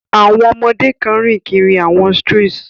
Àwọn ọmọdé kan ń rìn kiri àwọn strees.